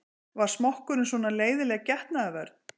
Var smokkurinn svona leiðinleg getnaðarvörn?